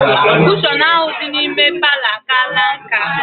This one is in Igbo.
Kushọn ahụ dị n'ime palọ a kaala nká